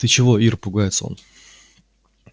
ты чего ир пугается он